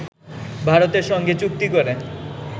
ভারতের সঙ্গে চুক্তি করে